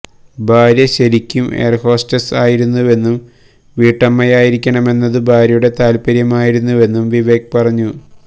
ഭാര്യ ശരിക്കും എയർഹോസ്റ്റസ് ആയിരുന്നുവെന്നും വീട്ടമ്മയായിരിക്കണമെന്നതു ഭാര്യയുടെ താൽപര്യമായിരുന്നുവെന്നും വിവേക് പറഞ്ഞു